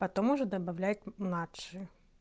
потом уже добавлять младше